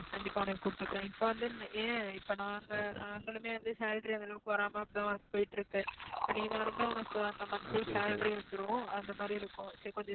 கண்டிப்பா உன்ன கூப்புட்டுக்குறேன். இப்போ வந்து ஏன் இப்போ நான் வந்து நாங்களுமே வந்து salary அந்த அளவுக்கு வராம அப்படி தான் work போயிட்டிருக்கு. உனக்கு அங்க monthly salary வந்துரும் அந்த மாதிரி இருக்கும் so கொஞ்சம்